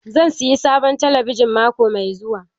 Zan sayi sabon talabijin mako mai zuwa.